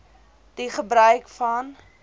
die gebruik van